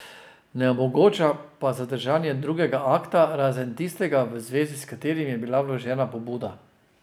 Ne omogoča pa zadržanja drugega akta, razen tistega, v zvezi s katerim je bila vložena pobuda.